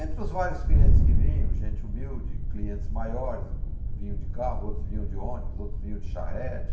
Entre os vários clientes que vinham, gente humilde, clientes maiores, vinha de carro, outros vinham de ônibus, outros vinham de charrete,